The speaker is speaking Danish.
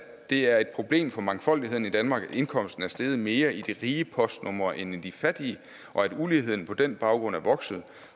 det er et problem for mangfoldigheden i danmark at indkomsten er steget mere i de rige postnumre end i de fattige og at uligheden på den baggrund er vokset